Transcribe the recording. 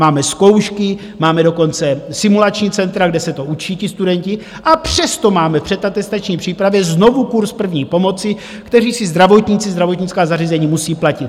Máme zkoušky, máme dokonce simulační centra, kde se to učí ti studenti, a přesto máme v předatestační přípravě znovu kurz první pomoci, kteří si zdravotníci, zdravotnická zařízení, musí platit.